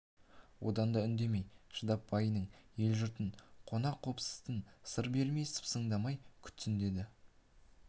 одан да үндемей шыдап байының елі-жұртын қонақ-қопсысын сыр бермей сыпсыңдамай күтсін деді